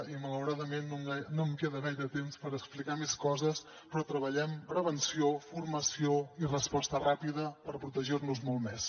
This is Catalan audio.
i malauradament no em queda gaire temps per explicar més coses però treballem prevenció formació i resposta ràpida per protegir nos molt més